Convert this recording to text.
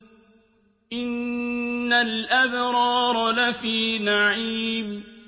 إِنَّ الْأَبْرَارَ لَفِي نَعِيمٍ